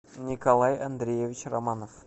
николай андреевич романов